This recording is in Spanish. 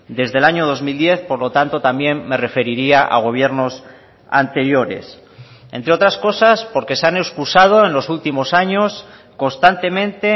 desde el año dos mil diez por lo tanto también me referiría a gobiernos anteriores entre otras cosas porque se han excusado en los últimos años constantemente